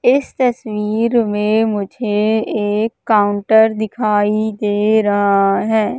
इस तस्वीर में मुझे एक काउंटर दिखाई दे रहा है।